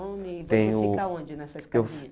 Nome, tenho você fica onde nessa escadinha? Eu